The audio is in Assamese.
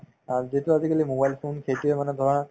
অ, যিটো আজিকালি mobile phone সেইটোয়ে মানে ধৰা